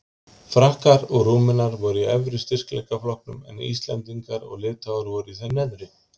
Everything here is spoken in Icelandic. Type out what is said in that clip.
Frakkar og Rúmenar voru í efri styrkleikaflokknum en Íslendingar og Litháar voru í þeim neðri.